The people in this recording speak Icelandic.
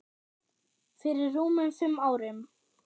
Fyrir rúmum fimm árum.